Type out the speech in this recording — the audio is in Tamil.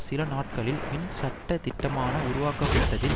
சில நாட்களில் வின் சட்ட திட்டமான உருவாக்கப்பட்டதில்